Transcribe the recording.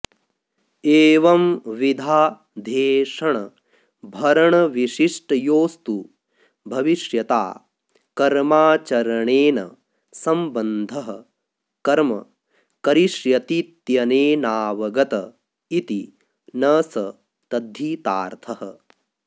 एवंविधाऽध्येषणभरणविशिष्टयोस्तु भविष्यता कर्माचरणेन सम्बन्धः कर्म करिष्यतीत्यनेनावगत इति न स तद्धितार्थः